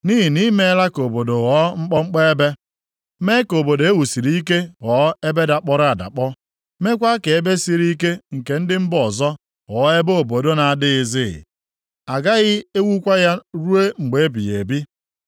Nʼihi na i meela ka obodo ghọọ mkpọmkpọ ebe; mee ka obodo e wusiri ike ghọọ ebe dakpọrọ adakpọ; meekwa ka ebe siri ike nke ndị mba ọzọ ghọọ ebe obodo na-adịghịzi, agaghị ewukwa ya ruo mgbe ebighị ebi.